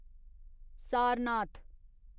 Sarnath